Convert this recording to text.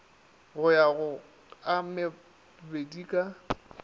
go ya go a mabedika